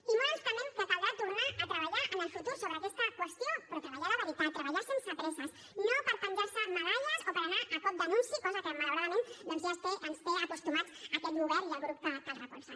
i molt ens temem que caldrà tornar a treballar en el futur sobre aquesta qüestió però treballar de veritat treballar sense presses no per penjar se medalles o per anar a cop d’anunci cosa que malauradament doncs ja ens té acostumats aquest govern i el grup que el recolza